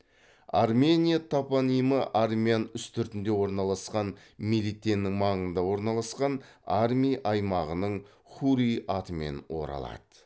армения топонимі армян үстіртінде орналасқан мелитеннің маңында орналасқан арми аймағының хурри атымен оралады